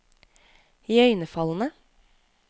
iøynefallende